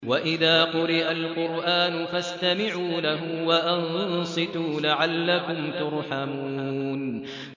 وَإِذَا قُرِئَ الْقُرْآنُ فَاسْتَمِعُوا لَهُ وَأَنصِتُوا لَعَلَّكُمْ تُرْحَمُونَ